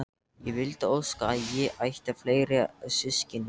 Ég vildi óska að ég ætti fleiri systkini.